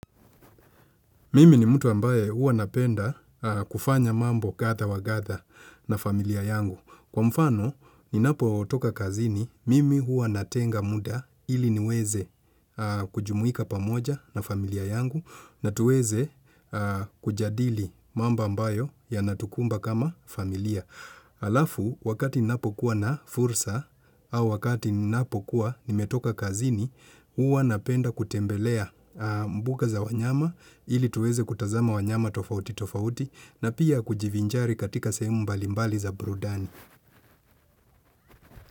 Mimi ni mtu ambaye hua napenda kufanya mambo kadha wa kadha na familia yangu. Kwa mfano, ninapo toka kazini, mimi huwa natenga muda ili niweze kujumuika pamoja na familia yangu na tuweze kujadili mambo ambayo yanatukumba kama familia. Halafu wakati ninapokuwa na fursa au wakati ninapokuwa nimetoka kazini Huwa napenda kutembelea mbuga za wanyama ili tuweze kutazama wanyama tofauti tofauti na pia kujivinjari katika sehemu mbalimbali za burudani.